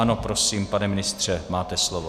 Ano, prosím, pane ministře, máte slovo.